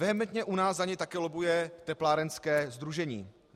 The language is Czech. Vehementně u nás za něj také lobbuje teplárenské sdružení.